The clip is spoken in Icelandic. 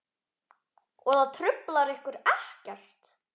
Og það truflar ykkur ekkert?